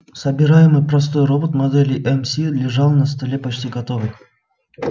собираемый простой робот модели мс лежал на столе почти готовый